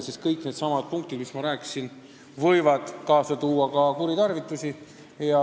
Sest kõik needsamad võimalused, millest ma rääkisin, võivad kaasa tuua kuritarvitusi.